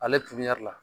Ale la